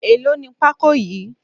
Èlò ní pako yìí?